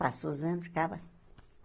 Passou os anos, acaba.